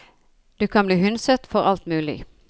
Du kan bli hundset for alt mulig.